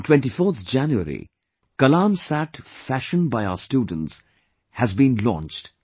On 24th January 'KALAM SAT' fashioned by our students had been launched